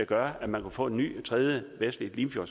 gøre at man kunne få en ny tredje vestlig